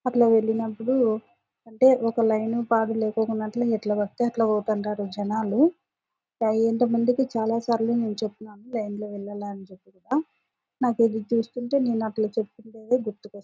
అట్లా వెళ్ళినప్పుడు అంటే లైన్ పాడు లేఖనట్టు ఎట్లా పడితే అట్లా పోతున్నారు జనాలు. ఎంతో మందికి చాలా సార్లు నేను చెప్తున్నాను లైన్ లో వెళ్ళాలని నాకు ఇది చూస్తుంటే నేను అట్లా చెప్తుండేది గుర్తుకొస్తుం--